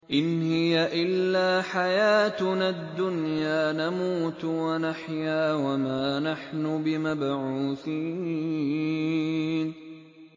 إِنْ هِيَ إِلَّا حَيَاتُنَا الدُّنْيَا نَمُوتُ وَنَحْيَا وَمَا نَحْنُ بِمَبْعُوثِينَ